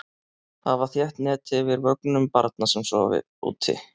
Hafa þétt net yfir vögnum barna sem sofa úti.